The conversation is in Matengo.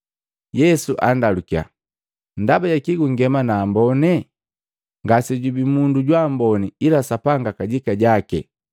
Yesu andalukiya, “Ndaba jakii gungema na ambone? Ngase jubii mundu jwa amboni ila Sapanga kajika jaki.